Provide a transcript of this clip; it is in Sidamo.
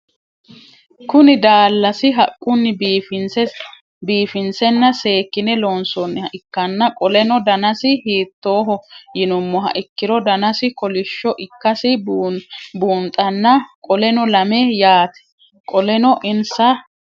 Kuni dalasi haquni bifinsena seekine loonsoniha ikana qoleno danasi hiitoho yinumoha ikiro danasi kolisho ikasi bunxana qoleno lame yaate qoleno insa